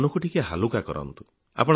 ମନକୁ ଟିକିଏ ହାଲୁକା କରନ୍ତୁ